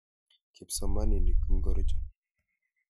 Kipsomaninik ingorcho?